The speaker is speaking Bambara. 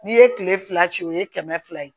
N'i ye kile fila o ye kɛmɛ fila ye